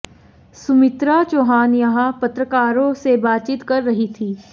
सुमित्रा चौहान यहां पत्रकारों से बातचीत कर रही थी